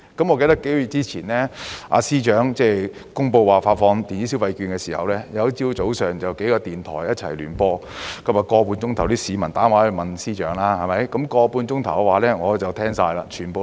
我記得幾個月前，司長公布發放電子消費券的時候，有一個早上，幾個電台一起聯播一個節目，長 1.5 小時，市民打電話到電台向司長提問。